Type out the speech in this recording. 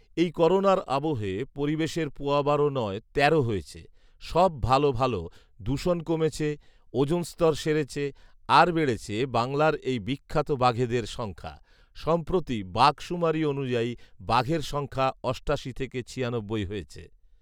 এই করোনার আবহে পরিবেশের পোয়া বারো নয় তেরো হয়েছে, সব ভালো ভালো; দূষণ কমেছে ওজন স্তর সেরেছে আর বেড়েছে বাংলার এই বিখ্যাত বাঘেদের সংখ্যা। সম্প্রতি বাঘ সুমারি অনুযায়ী, বাঘের সংখ্যা অষ্টাশি থেকে ছিয়ানব্বই হয়েছে।